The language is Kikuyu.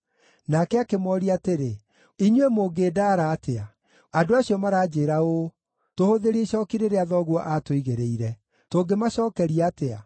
Nake akĩmooria atĩrĩ, “Inyuĩ mũngĩndaara atĩa? Andũ acio maranjĩĩra ũũ, ‘Tũhũthĩrie icooki rĩrĩa thoguo aatũigĩrĩire.’ Tũngĩmacookeria atĩa?”